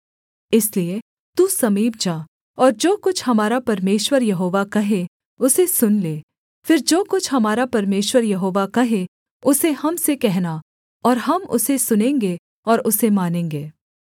इसलिए तू समीप जा और जो कुछ हमारा परमेश्वर यहोवा कहे उसे सुन ले फिर जो कुछ हमारा परमेश्वर यहोवा कहे उसे हम से कहना और हम उसे सुनेंगे और उसे मानेंगे